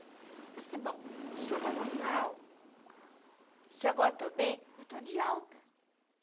Eu pensei, bom, se eu tava mal, se agora eu estou bem, eu estou de alta.